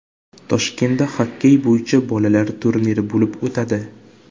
Toshkentda xokkey bo‘yicha bolalar turniri bo‘lib o‘tadi.